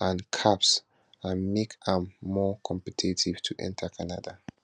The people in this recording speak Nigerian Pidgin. and caps and make am more competitive to enta canada